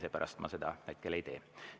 Seepärast ma seda ei tee.